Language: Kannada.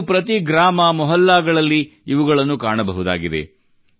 ಇಂದು ಪ್ರತಿ ಗ್ರಾಮಮೊಹಲ್ಲಾಗಳಲ್ಲಿ ಇವುಗಳನ್ನು ಕಾಣಬಹುದಾಗಿದೆ